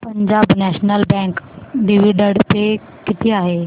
Punjab National Bank dividend pay किती आहे